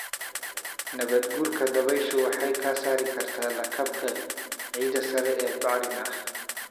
Nabaadguurka dabayshu waxay ka saari kartaa lakabka ciidda sare ee bacrin ah.